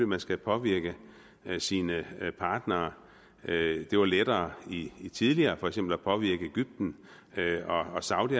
man skal påvirke sine partnere det var lettere tidligere for eksempel at påvirke egypten og saudi